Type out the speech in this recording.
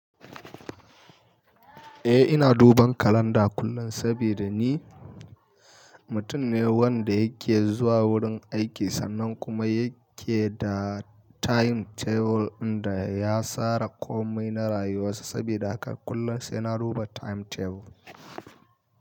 Eh ina duban kalanda kullum sabida ni mutum ne wanda yake zuwa wurin aiki sannan kuma yake da timetable inda ya sara komai na rayuwarsa sabida haka kullum sai na duba timetable.